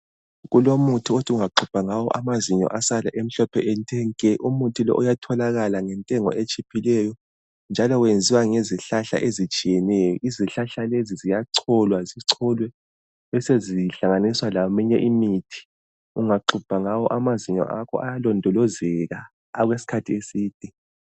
Kulomuthi othi ungaxubha ngawo amazinyo asale emhlophe ethe nke, umuthi lowu uyatholakala ngentengo etshiphileyo njalo wenziwa ngezihlahla ezitshiyeneyo, izihlahla lezi ziyacholwa zicholwe besezihlanganiswa leminye imithi, ungaxubha ngawo amazinyo akho ayalondolozeka okwesikhathi eside.